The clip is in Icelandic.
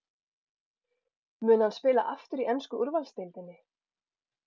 Mun hann spila aftur í ensku úrvalsdeildinni?